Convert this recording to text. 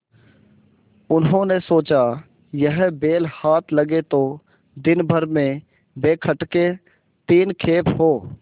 उन्होंने सोचा यह बैल हाथ लगे तो दिनभर में बेखटके तीन खेप हों